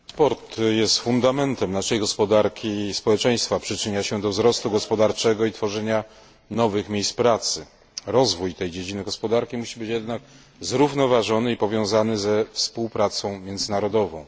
Panie Przewodniczący! Transport jest fundamentem naszej gospodarki i społeczeństwa. Przyczynia się do wzrostu gospodarczego i tworzenia nowych miejsc pracy. Rozwój tej dziedziny gospodarki musi być jednak zrównoważony i powiązany ze współpracą międzynarodową.